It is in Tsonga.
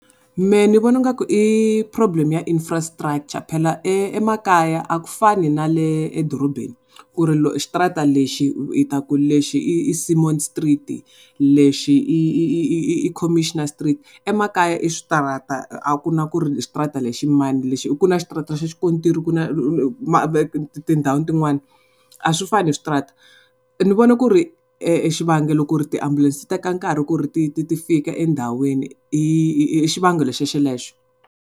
Mehe ni vona nga ku i problem ya infrastructure phela emakaya a ku fani na le edorobeni ku ri xitrata lexi hi ta ku lexi i Semon street-i lexi i i i i Commissioner street, emakaya i switirata a ku na ku ri xitirata lexi i mani. Ku na xitirata xa xikontiri ku na tindhawu tin'wana a swi fani switirata. Ni vone ku ri xivangelo ku ri tiambulense ti teka nkarhi ku ri ti ti ti fika endhawini i xivangelo xo xelexo.